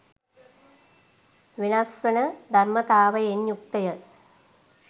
වෙනස්වන ධර්මතාවයෙන් යුක්තය.